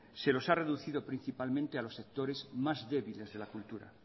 se los ha reducido principalmente a los sectores más débiles de la cultura